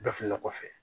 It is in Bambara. Bɛɛ fililen kɔfɛ